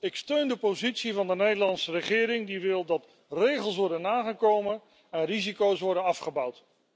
Ik steun de positie van de Nederlandse regering die wil dat regels worden nagekomen en risico's worden afgebouwd.